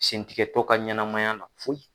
Sentigɛtɔ ka ɲɛnamaya foyi